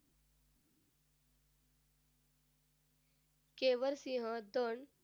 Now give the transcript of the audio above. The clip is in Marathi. केवल सिंह